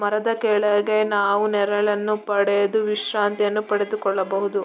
ಮರದ ಕೆಳಗೆ ನಾವು ನೆರಳನ್ನು ಪಡೆದು ವಿಶ್ರಾಂತಿ ಅನ್ನು ಪಡೆದು ಕೊಳ್ಳಬಹುದು .